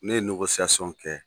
Ne ye kɛ